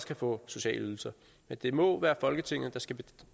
kan få sociale ydelser men det må være folketinget der skal